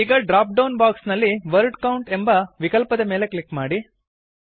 ಈಗ dropdown box ನಲ್ಲಿ word count ಎಂಬ ವಿಕಲ್ಪದ ಮೇಲೆ ಕ್ಲಿಕ್ ಮಾಡಿ